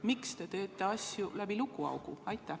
Miks te teete asju läbi lukuaugu?